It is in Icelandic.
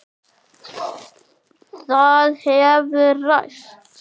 Það hefur ræst.